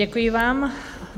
Děkuji vám.